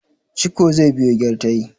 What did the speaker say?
ciko zai biyo gyartai